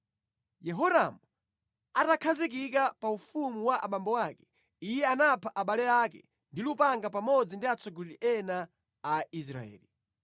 Yehoramu atakhazikika pa ufumu wa abambo ake, iye anapha abale ake ndi lupanga pamodzi ndi atsogoleri ena a Israeli.